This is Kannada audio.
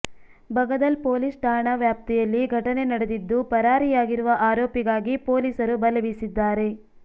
ಬಗದಲ್ ಪೊಲೀಸ್ ಠಾಣಾ ವ್ಯಾಪ್ತಿಯಲ್ಲಿ ಘಟನೆ ನಡೆದಿದ್ದು ಪರಾರಿಯಾಗಿರುವ ಆರೋಪಿಗಾಗಿ ಪೋಲಿಸರು ಬಲೆ ಬೀಸಿದ್ದಾರೆ